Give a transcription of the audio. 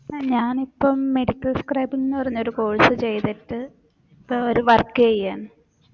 ഞാനിപ്പം medical scribing ന്ന് പറഞ്ഞൊരു course ചെയ്തിട്ട് ഇപ്പോ ഒരു work എയ്യാന്ന്